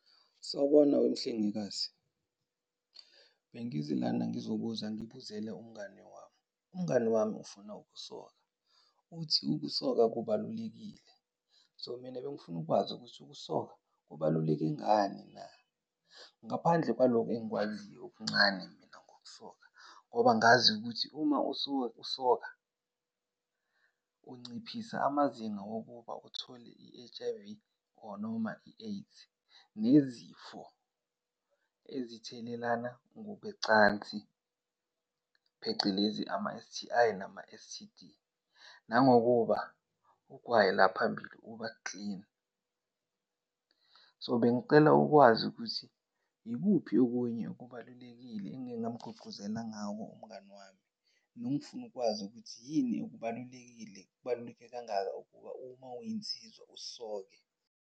Sawubona wemhlengikazi. Bengize lana ngizobuza ngibuzele umngani wami. Umngani wami ufuna ukusoka, uthi ukusoka kubalulekile. So, mina bengifuna ukwazi ukuthi ukusoka kubaluleke ngani na? Ngaphandle kwaloku engikwaziyo okuncane mina ngokusoka. Ngoba ngazi ukuthi uma usuke usoka unciphisa amazinga wokuba uthole i-H_I_V, or noma i-AIDS nezifo ezithelelana ngokwecansi, phecelezi ama-S_T_I nama-S_T_D, nangokuba ugwayi la phambili uba-clean. So, bengicela ukwazi ukuthi yikuphi okunye okubalulekile engingamgqugquzela ngako umngani wami? Nongifuna ukukwazi ukuthi yini kubalulekile, kubaluleke kangaka ukuba uma uyinsizwa usoke?